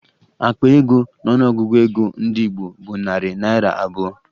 Akpa ego n'ọnụọgụgụ ego ndị Igbo bụ narị naịra abụọ